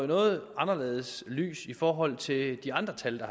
noget anderledes lys i forhold til de andre tal